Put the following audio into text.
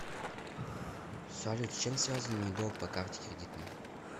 салют с чем связан мой долг по карте кредитной